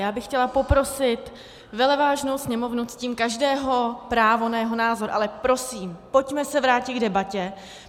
Já bych chtěla poprosit veleváženou sněmovnu, ctím každého právo na jeho názor, ale prosím, pojďme se vrátit k debatě.